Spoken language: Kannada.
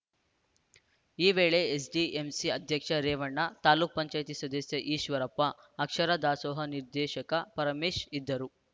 ಈ ವೇಳೆ ಎಸ್‌ಡಿಎಂಸಿ ಅಧ್ಯಕ್ಷ ರೇವಣ್ಣ ತಾಲೂಕ್ ಪಂಚಾಯೆತಿ ಸದಸ್ಯ ಈಶ್ವರಪ್ಪ ಅಕ್ಷರ ದಾಸೋಹ ನಿರ್ದೇಶಕ ಪರಮೇಶ್‌ ಇದ್ದರು